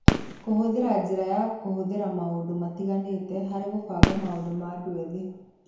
Kũhũthĩra njĩra ya kũhũthĩra maũndũ matiganĩte harĩ kũbanga maũndũ ma andũ ethĩ